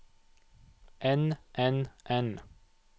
enn enn enn